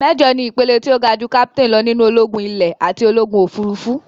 Méjọ̀ ni ìpele tó ga jú Kápítáìn lọ nínú ológún ilè àti ológùn òfurufú.